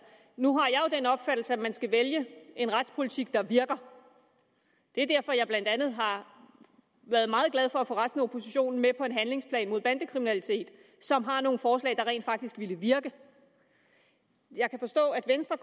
nu har jeg jo den opfattelse at man skal vælge en retspolitik der virker det er derfor jeg blandt andet har været meget glad for at få resten af oppositionen med på en handlingsplan mod bandekriminalitet som har nogle forslag der rent faktisk ville virke jeg kan forstå at venstre